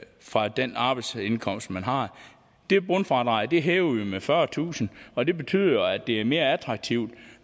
fra den arbejdsindkomst man har det bundfradrag hæver vi med fyrretusind og det betyder at det er mere attraktivt